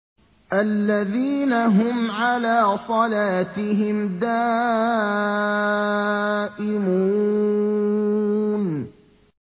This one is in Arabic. الَّذِينَ هُمْ عَلَىٰ صَلَاتِهِمْ دَائِمُونَ